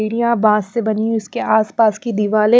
बास से बनी है इसके आसपास की दीवार है।